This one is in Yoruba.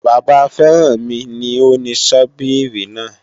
Bàbá Férànmi ni ó ni Sọ́bíìrì náà